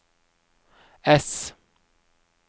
ess